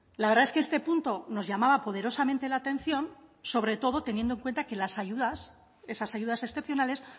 la verdad es que este punto nos llamaba poderosamente la atención sobre todo teniendo cuenta que las ayudas esas ayudas excepcionales